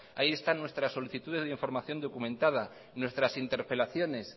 ahí están nuestras solicitudes de información documentada nuestras interpelaciones